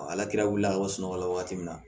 ala kira wuli a ka sunɔgɔ la wagati min na